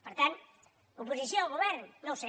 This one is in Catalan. per tant oposició al govern no ho sé